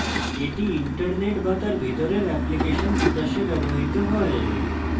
এটি internet বা তার ভিতরের এপ্লিকেশন বিকাশে ব্যবহৃত হয়